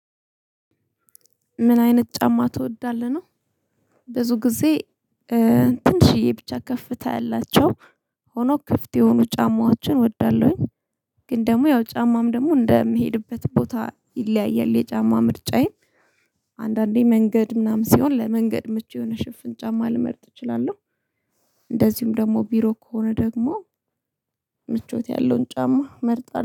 ምን አይነት ጫማ ትወዳለህ ነው? ብዙ ጊዜ ትንሽዬ ብቻ ከፍታ ያላቸው ሆኖ ክፍት የሆኑ ጫማዎችን እወዳለሁኝ። ግን ደግሞ ያው ጫማም ደግሞ እንደምሄድበት ቦታ ይለያያል የጫማ ምርጫዬ። አንድ አንዴ መንገድ ምናምን ሲሆን ለመንገድ ምቹ የሆነ ሽፍን ጫማ ልመርጥ እችላለሁ። እንደዚሁም ደግሞ ቢሮ ከሆነ ደግሞ ምቾት ያለውን ጫማ መርጠን